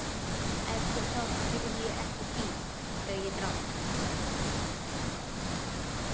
Eftir það hreyfði ég ekki bíl þegar ég drakk.